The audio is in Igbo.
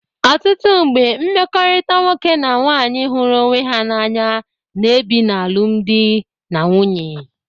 Ọtụtụ mgbe mmekọrịta nwoke na nwaanyị hụrụ onwe ha n'anya na-ebi na alụmdị na nwunye.